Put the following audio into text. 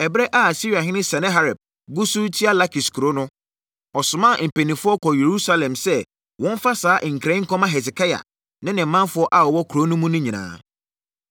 Ɛberɛ a Asiriahene Sanaherib gu so retua Lakis kuro no, ɔsomaa mpanimfoɔ kɔɔ Yerusalem sɛ wɔmfa saa nkra yi nkɔma Hesekia ne ne manfoɔ a wɔwɔ kuro no mu nyinaa: